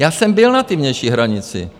Já jsem byl na té vnější hranici.